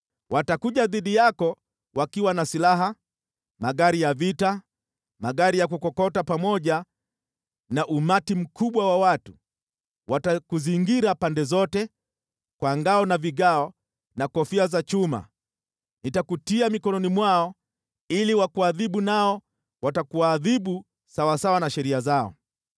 Watakuja dhidi yako wakiwa na silaha, magari ya vita, magari ya kukokota, pamoja na umati mkubwa wa watu. Watakuzingira pande zote kwa ngao na vigao na kofia za chuma. Nitakutia mikononi mwao ili wakuadhibu, nao watakuadhibu sawasawa na sheria zao.